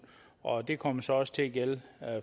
og de kommer så også til at gælde